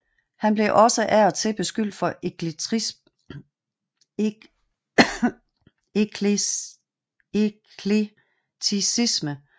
Han blev også af og til beskyldt for eklekticisme